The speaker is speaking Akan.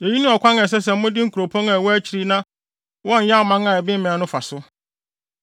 Eyi ne ɔkwan a ɛsɛ sɛ mode nkuropɔn a ɛwɔ akyiri na wɔnyɛ aman a ɛbemmɛn no fa so.